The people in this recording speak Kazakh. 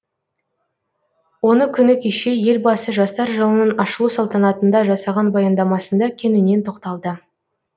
оны күні кеше елбасы жастар жылының ашылу салтанатында жасаған баяндамасында кеңінен тоқталды